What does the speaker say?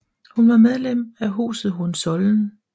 Hun var medlem af huset Hohenzollern